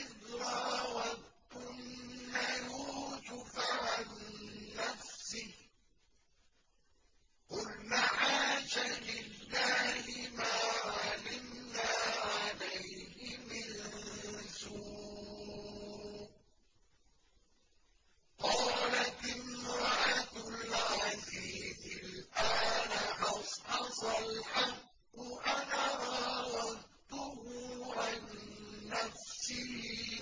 إِذْ رَاوَدتُّنَّ يُوسُفَ عَن نَّفْسِهِ ۚ قُلْنَ حَاشَ لِلَّهِ مَا عَلِمْنَا عَلَيْهِ مِن سُوءٍ ۚ قَالَتِ امْرَأَتُ الْعَزِيزِ الْآنَ حَصْحَصَ الْحَقُّ أَنَا رَاوَدتُّهُ عَن نَّفْسِهِ